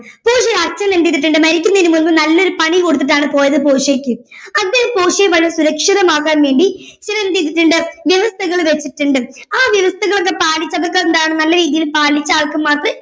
പോർഷ്യയുടെ അച്ഛൻ എന്ത് ചെയ്തിട്ടുണ്ട് മരിക്കുന്നതിന് മുൻപ് നല്ലൊരു പണി കൊടുത്തിട്ടാണ് പോയത് പോർഷ്യയ്ക്ക് അദ്ദേഹം പോർഷ്യയെ വളരെ സുരക്ഷിതമാക്കാൻ വേണ്ടി അച്ഛനെന്ത് ചെയ്തിട്ടുണ്ട് വ്യവസ്ഥകൾ വച്ചിട്ടുണ്ട് ആ വ്യവസ്ഥകളൊക്കെ പാലിച്ച അതൊക്കെ എന്താണ് നല്ല രീതിയിൽ പാലിച്ച ആൾക്ക് മാത്രമേ